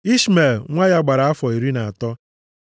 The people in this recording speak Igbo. Ishmel nwa ya gbara afọ iri na atọ.